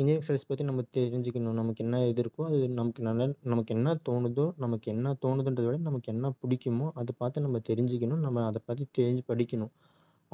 இன்னொரு studies பத்தி நம்ம தெரிஞ்சுக்கணும் நமக்கு என்ன இது இருக்கோ அது நமக்கு நல்ல~ நமக்கு என்ன தோணுதோ நமக்கு என்ன தோணுதுன்றதவிட நமக்கு என்ன பிடிக்குமோ அதை பார்த்து நம்ம தெரிஞ்சுக்கணும் நம்ம அத பத்தி தேடி படிக்கணும்